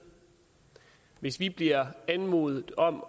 hvis vi bliver anmodet om